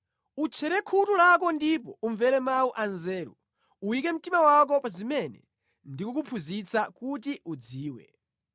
Utchere khutu lako ndipo umvere mawu anzeru; uyike mtima wako pa zimene ndikukuphunzitsa kuti udziwe.